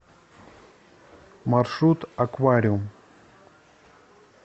маршрут аквариум